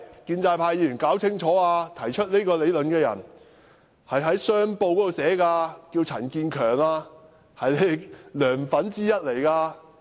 請建制派議員弄清楚，提出這個理論的是《香港商報》的陳建強，他是"梁粉"之一。